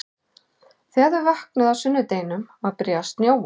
Þegar þau vöknuðu á sunnudeginum var byrjað að snjóa.